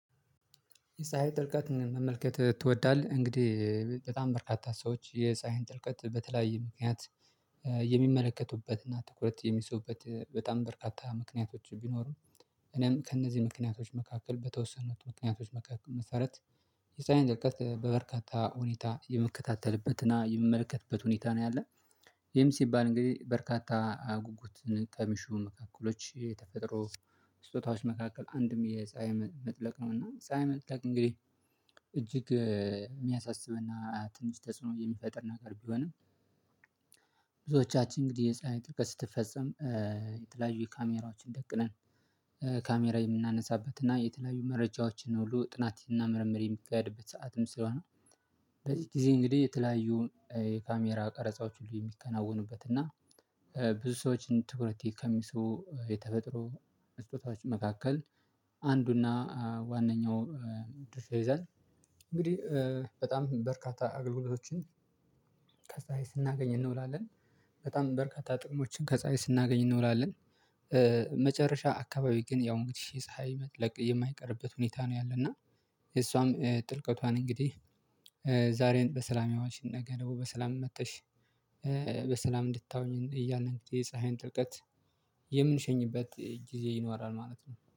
የፀሀይ ጥልቀት መመልከት ትወዳለህ እንግዲህ በጣም በርካታ ሰዎች የፀሀይን ጥልቀት በተለያየ ምክንያት የሚመለከቱበትና ትኩረት የሚስቡበት በጣም በርካታ ምክንያቶች ቢኖርም እኔም ከእነዚህ ምክንያቶች መካከል በተወሰኑት ምክንያቶች መካከል መሰረት የሳይንድ እውቀት በበርካታ ሁኔታ የምከታተልበት እና የሚመለከትበት ሁኔታ ነው ያለ ይሄም ሲባል እንግዲህ በርካታ ጉጉት ከሚሹ ክፍሎች የተፈጥሮ ስጦታዎች መካከል አንድም የፀሀይ መጥለቅ ነው እና ፀሀይ መጥለቅ እንግዲህ እጅግ የሚያሳስብና ትንሽ ተጽዕኖ የሚፈጥር ነገር ቢሆንም ብዙዎቻችን እንግዲህ የፀሀይ ጥልቀት ስትፈጸም የተለያዩ ካሜራዎችን ደቅነን ካሜራ የምናነሳበት እና የተለያዩ መረጃዎችን ሁሉ ጥናትና ምርምር የሚከያድበት ሰዓትም ስለሆነ በዚህ ጊዜ እንግዲህ የተለያዩ የካሜራ ቀረጻዎች ሁሉ የሚከናወኑበት እና ብዙ ሰዎችን ትኩረቴ ከሚስቡ የተፈጥሮ ስጦታዎች መካከል አንዱና ዋነኛው ድርሻ ይይዛል እንግዲህ በጣም በርካታ አገልግሎቶችን ከፀለይ ስናገኝ እንውላለን በጣም በርካታ ጥቅሞችን ከፀሀይ ስናገኝ እንውላለን። መጨረሻ አካባቢ ግን ያው እንግዲህ የፀሀይ መጥለቅ የማይቀርበት ሁኔታ ነው። ያለና እሷም ጥልቀቷን እንግዲህ ዛሬን በሰላም ያዋልሽንን ነገርን ደግሞ በሰላም መጥተሽ በሰላም እንድታውኚን እያለንክ የፀሀይን ጥርቀት የምንሸኝበት ጊዜ ይኖራል ማለት ነው።